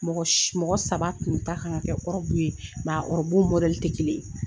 Mɔgɔ mɔgɔ saba tun ta kan ka kɛ ɔrɔbu ye, ɔrɔbu tɛ kelen ye